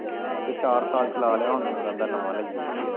ਹਾਲੇ ਚਾਰ ਸਾਲ ਚਲਾ ਲਿਆ ਹੁਣ ਰਹਿੰਦਾ ਨਵਾਂ ਲਈਏ